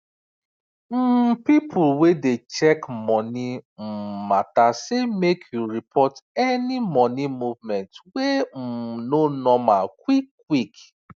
um people wey dey check money um matter say make you report any money movement wey um no normal quick quick